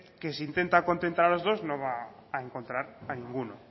que si intenta contentar a los dos no va a encontrar a ninguno